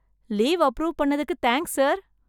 Leave approve பண்ணத்துக்கு thanks sir.